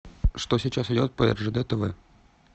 что сейчас идет по ржд тв